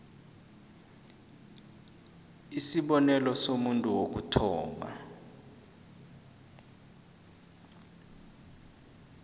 isibonelo somuntu wokuthoma